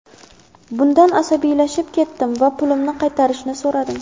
Bundan asabiylashib ketdim va pulimni qaytarishlarini so‘radim.